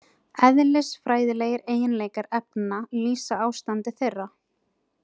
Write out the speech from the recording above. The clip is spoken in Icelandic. Eðlisfræðilegir eiginleikar efna lýsa ástandi þeirra.